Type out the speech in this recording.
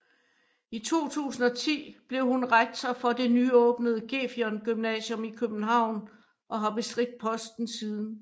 I 2010 blev hun rektor for det nyåbnede Gefion Gymnasium i København og har bestridt posten siden